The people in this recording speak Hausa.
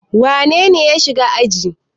Wane ne ya shiga aji?